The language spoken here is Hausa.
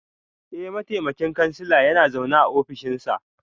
Eh, mataimakin kansila yana zaune a ofishinsa